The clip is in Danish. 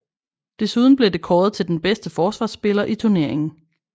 Desuden blev det kåret til den bedste forsvarsspiller i turneringen